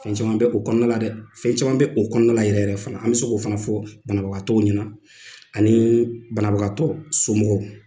Fɛn caman bɛ o kɔnɔna la dɛ fɛn caman bɛ o kɔnɔna yɛrɛ yɛrɛ fana la an bɛ se k'o fana fɔ banabagatɔ u ɲɛna ani banabagatɔ somɔgɔw.